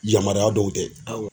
Yamaruya dɔw tɛ. Awɔ.